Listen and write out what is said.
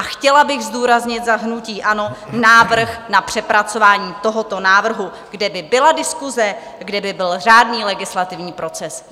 A chtěla bych zdůraznit za hnutí ANO návrh na přepracování tohoto návrhu, kde by byla diskuse, kde by byl řádný legislativní proces.